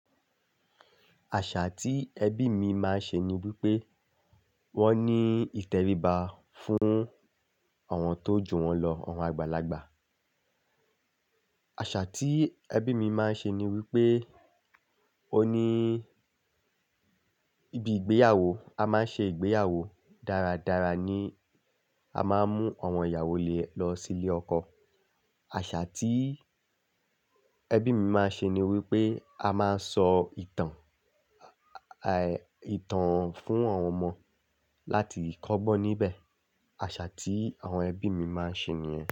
Àṣà tí ẹbí mi máa ń ṣe ni wípé wón ní ìtẹríba fún àwọn tó jù wón lọ, àwọn àgbàlagbà. Àṣà tí ẹbí mi máa ń ṣe ni wípé ó ní ibi ìgbéyàwó, a máa ń ṣe ìgbéyàwó dáradára ní a máa ń mú àwọn ìyàwó ilé lọ sí ilé ọkọ. Àṣà tí ẹbí mi máa ń ṣe ni wípé a máa ń sọ ìtàn, à, è, ìtàn fún àwọn ọmọ láti kọ́gbọ́n níbẹ̀. Àṣà tí àwọn ẹbí mi máa ń ṣe nìyẹn.